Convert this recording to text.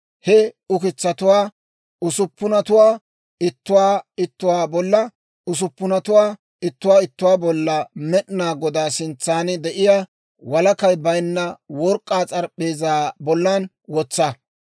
He ukitsatuwaa usuppunatuwaa ittuwaa ittuwaa bolla usuppunatuwaa ittuwaa ittuwaa bollan Med'inaa Godaa sintsan de'iyaa walakay bayinna work'k'aa s'arap'p'eezaa bollan wotsa.